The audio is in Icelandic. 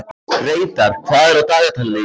Reidar, hvað er á dagatalinu í dag?